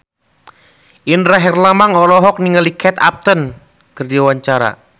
Indra Herlambang olohok ningali Kate Upton keur diwawancara